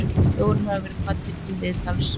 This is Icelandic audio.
Fjórir hafa verið kvaddir til viðtals